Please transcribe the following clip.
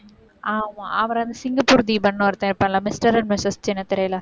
ஆமா. அவர், அந்த சிங்கப்பூர் தீபன்னு ஒருத்தன் இருப்பான்ல mister and mistress சின்னத்திரையில